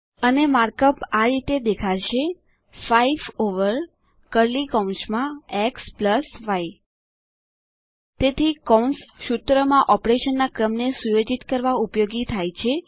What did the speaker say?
અને માર્કઅપ આ રીતે દેખાશે 5 over xy in curly brackets તેથી કૌંસ સૂત્રમાં ઓપરેશનના ક્રમને સુયોજિત કરવા ઉપયોગી થાય છે